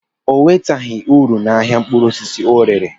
O nweteghi uru na ahịa mkpụrụ osisi ọ rere.